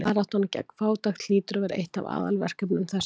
Baráttan gegn fátækt hlýtur að vera eitt af aðalverkefnum þessarar aldar.